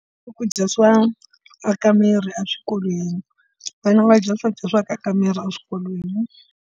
Swakudya swa aka miri eswikolweni vana va dya swakudya swo aka miri eswikolweni.